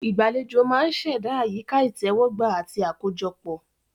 Ìgbàlejò máa ń ṣẹ̀dá àyíká ìtẹ́wọ́gbà àti àkójọpọ̀.